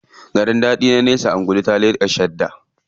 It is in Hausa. Garin daɗi na nesa, angulu ta leƙa shadda.